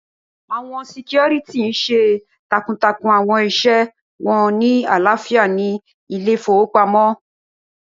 Awọn sikioriti n ṣe takuntakun awọn iṣẹ wọn ni alaafia ni ile-ifowopamọ.